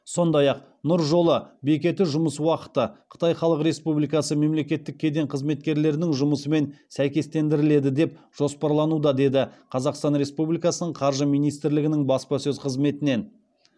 сондай ақ нұр жолы бекеті жұмыс уақыты қытай халық республикасы мемлекеттік кеден қызметкерлерінің жұмысымен сәйкестендіріледі деп жоспарлануда деді қазақстан республикасының қаржы министрлігінің баспасөз қызметінен